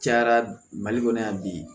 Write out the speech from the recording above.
Cayara mali kɔnɔ yan bi